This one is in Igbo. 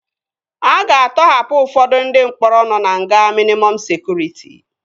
A ga-atọhapụ ụfọdụ ndị mkpọrọ nọ na nga mịnịmọm sekụritị